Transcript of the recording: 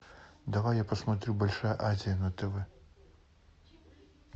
давай я посмотрю большая азия на тв